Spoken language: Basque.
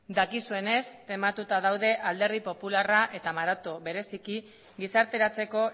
dakizuenez tematuta daude alderdi popularra eta maroto bereziki gizarteratzeko